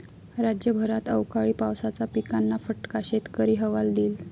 राज्यभरात अवकाळी पावसाचा पिकांना फटका, शेतकरी हवालदिल